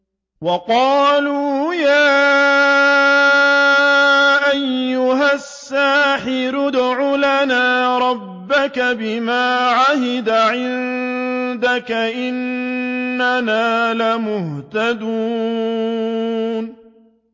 وَقَالُوا يَا أَيُّهَ السَّاحِرُ ادْعُ لَنَا رَبَّكَ بِمَا عَهِدَ عِندَكَ إِنَّنَا لَمُهْتَدُونَ